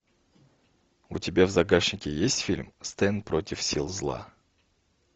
у тебя в загашнике есть фильм стэн против сил зла